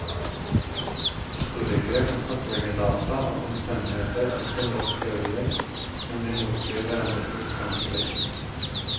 Historikerne kan kartlegge data og omstendigheter og stille opp teorier, men de motsier hverandre ustanselig.